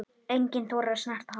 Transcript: Enginn þorir að snerta hann.